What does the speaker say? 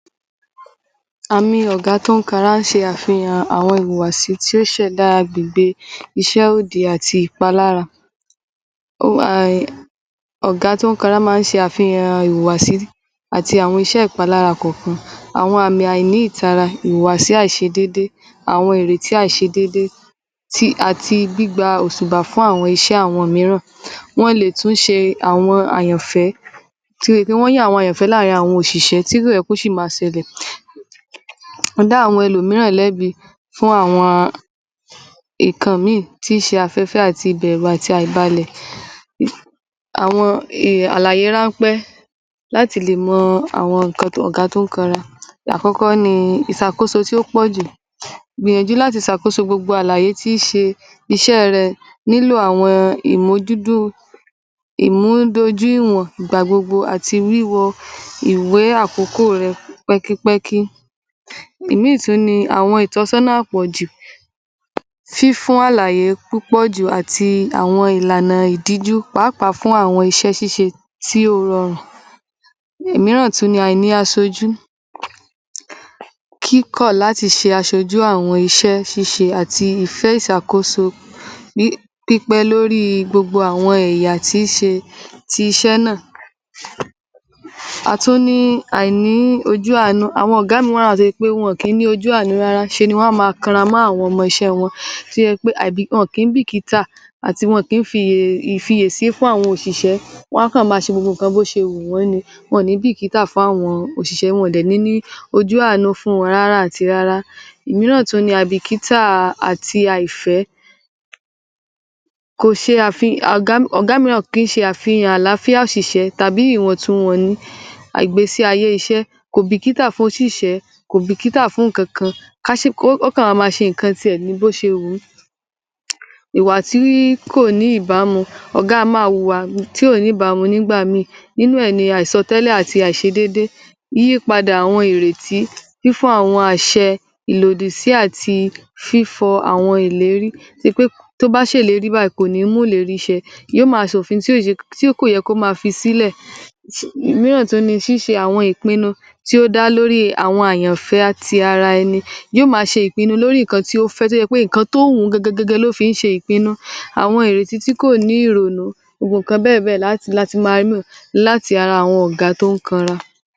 Àmín ọ̀gá a tó ń kara ń ṣe àfihàn àwọn ìwàsì tí ó ṣẹ̀ láàgbe ìṣe odi àti ipa lára. Ọ̀gá tó ń kara máa ń ṣe àfihàn ìwàsì àti àwọn iṣẹ́ ipa lára kòkan. Àwọn àmín aìní ìtara, ìwàsì àìṣe déédéé, àwọn ìrètí àìṣe déédéé, ti-- àti bí i gba òtùbà fún àwọn iṣẹ́ àwọn mìíràn. Wọn lè tún ṣe àwọn àyànfẹ́ tí wọ́n yáwọ́ àwọn àyànfẹ́ láàrín àwọn òṣìṣẹ́ tí tó yẹpẹ́t kú sí máa sẹ̀lẹ̀. Ní dáwọ́ àwọn ẹnu mìíràn ilébi fún àwọn ikàn míì tí í ṣe afẹ́fẹ́ àti ibẹ̀rù àti àìbálẹ̀. Àwọn alààyè rán pẹ́ láti le mọ àwọn nǹkan tó ọ̀gá tó ń kara. Ìyàkọ́kọ́ ni isàkóso tí ó pọ̀jù. Gbinijú láti sàkóso gbogbo alààyè tí í ṣe iṣẹ́ rẹ nílò àwọn ìmo dúdú-- ìmúdojú ìwọ̀n, ìgbà gbogbo àti wíwọ ìwé àkókò rẹ pẹ́kípẹ́kí. Emíì tún ni àwọn ìtọ́sọná pọ̀jù. Fífùn alààyè púpọ̀jù àti àwọn ìlànà ìdíjú pàápàá fún àwọn iṣẹ́ síse tí ò rọràn. Mìíràn tún ni àìní àsojú. Kíkọ́ láti ṣe àsòjú àwọn iṣẹ́ síse àti ìfẹ́ ìsàkóso pípẹ́ lórí gbogbo àwọn èèyà tí í ṣe-- tí í ṣe sẹ́ nàá. A tó ní àìní ojú anu-- àwọn ọ̀gá mi wọn ra ti wọn pé wọn kín ní ojú àanu rárá. Ṣe ni wọn máa karamá àwọn ọmọ ẹṣẹ̀ wọn tí ẹ pé àìbì-- wọn kín bíkítà àti wọn kín fi ìfìyèsé fún àwọn òṣìṣẹ́. Wọn kan máa ṣe gbogbo kan bó ṣe ń hu wọ́n ẹni. Wọn ní bíkítà fún àwọn òṣìṣẹ́. Wọn dẹ̀́ní ojú àanu fún wọn rárá àti rárá. Ìmíràn tún ni abíkítà àti àìfẹ́. Kò ṣe afi-- Ọ̀gá mìíràn kí n ṣe àfihàn aláfíà òṣìṣẹ́ tàbí ìwọ̀ntúnwọ̀ni àìgbésí ayé iṣẹ́. Kò bíkítà fún òṣìṣẹ́. Kò bíkítà fún nǹkan kan. Ka ṣe-- ó kàn máa ma ṣe nǹkan tí ẹ̀ ní bó ṣe ń hu. Ìwà tí kò ní ìbámu. Ọ̀gá a máa hùwà tí ó ní ìbámu. Nígbàmín nínú ẹni àìsọtẹ́lé àti àìṣedéédéé. Yípadà àwọn ìrètí fún àwọn àṣẹ ìlòdì sí àti fífọ àwọn ìlérí tó bá ṣe lérí báyìí kò ní mú leri iṣẹ́. Yó ma sòfin tí ó yè-- tí ó kò yẹ kó ma fi sílẹ̀. Mìíràn tún ni síse àwọn ìpinnu tí ó dá lórí àwọn àyànfẹ́ ati ara ẹni. Yó ma ṣe ìpinnu lórí nǹkan tí ó fẹ́ tó yẹ pé nǹkan tó hùn gẹ́gẹ́ ló fi ń ṣe ìpinnu. Àwọn ìrètí tí kò ní rònú. Gbogbo ǹkan bẹ̀ẹ́dẹ̀ láti, láti máa rímí láti ara àwọn ọ̀gá tó ń kánra.